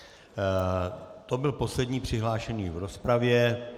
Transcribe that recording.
To byl poslední přihlášený v rozpravě.